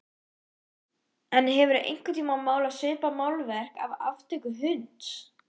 En hefurðu einhvern tíma málað svipað málverk af aftöku hunds?